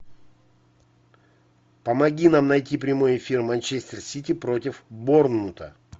помоги нам найти прямой эфир манчестер сити против борнмута